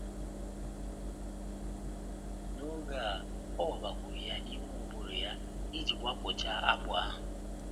N’oge a, ọ wabakwuru ya n’ime ụbụrụ ya iji wapụchaa akpụ ahụ.